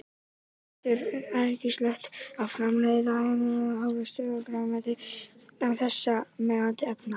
Unnt er og æskilegt að framleiða heilnæma ávexti og grænmeti án þessara mengandi efna.